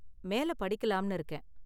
மேல படிக்கலாம்னு இருக்கேன்.